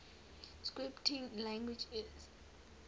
scripting languages